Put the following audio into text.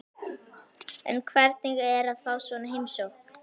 En hvernig er að fá svona heimsókn?